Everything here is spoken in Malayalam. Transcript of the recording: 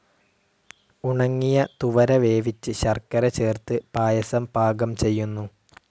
ഉണങ്ങിയ തുവര വേവിച്ച് ശർക്കര ചേർത്ത് പായസം പാകം ചെയ്യുന്നു.